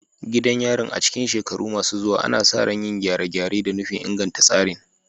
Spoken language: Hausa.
Gidan yarin, a cikin shekaru masu zuwa, ana sa ran yin gyare-gyare da nufin inganta tsarin